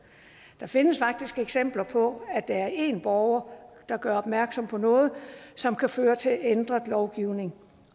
der findes faktisk eksempler på at der er én borger der gør opmærksom på noget som kan føre til ændret lovgivning